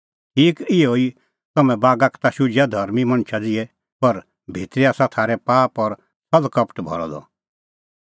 ठीक इहअ ई तम्हैं बागा का ता शुझिआ धर्मीं मणछा ज़िहै पर भितरी आसा थारै पाप और छ़ल़ कपट भरअ द